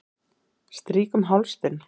Strýk um háls þinn.